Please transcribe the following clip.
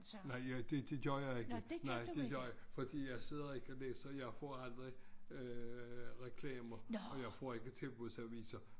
Nej jeg det det gør jeg ikke nej det gør fordi jeg sidder ikke og læser jeg får aldrig øh reklamer og jeg får ikke tilbudsaviser